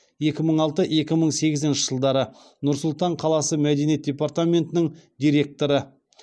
екі мың алты екі мың сегізінші жылдары нұр сұлтан қаласы мәдениет департаментінің директоры